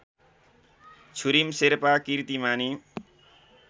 Chhurim Sherpa किर्तिमानी